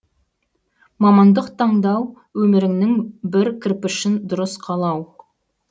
мамандық таңдау өміріңнің бір кірпішін дұрыс қалау